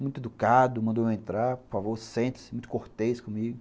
Muito educado, mandou eu entrar, por favor, sente-se, muito cortês comigo.